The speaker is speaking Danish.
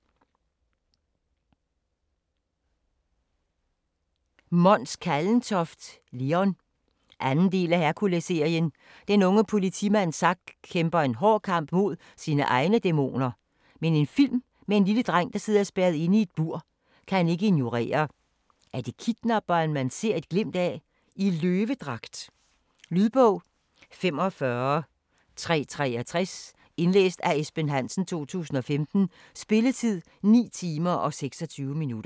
Kallentoft, Mons: Leon 2. del af Herkulesserien. Den unge politimand Zack kæmper en hård kamp med sine egne dæmoner, men en film med en lille dreng der sidder spærret inde i et bur, kan han ikke ignorere. Er det kidnapperen man ser et glimt af - i løvedragt? Lydbog 45363 Indlæst af Esben Hansen, 2015. Spilletid: 9 timer, 26 minutter.